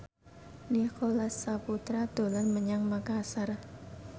Nicholas Saputra dolan menyang Makasar